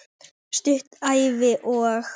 Stutt Ævi- og